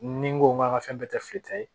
Ni n ko an ka fɛn bɛɛ tɛ fili ta ye